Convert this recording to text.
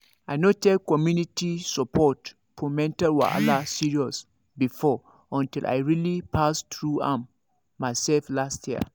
i no take community support for mental wahala serious before until i really pass through am myself last year